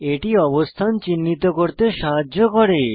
এটি অবস্থান চিহ্নিত করতে সাহায্য করে